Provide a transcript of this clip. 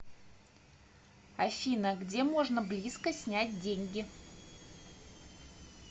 афина где можно близко снять деньги